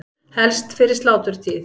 Helst fyrir sláturtíð.